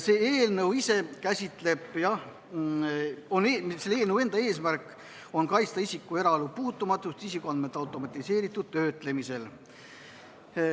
Selle eelnõu eesmärk on kaitsta isiku eraelu puutumatust isikuandmete automatiseeritud töötlemisel.